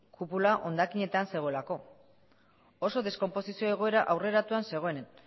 kupula hondakinetan zegoelako oso deskonposizio egoera aurreratuan zegoen